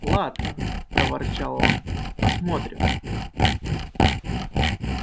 ладно проворчал он посмотрим